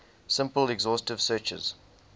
simple exhaustive searches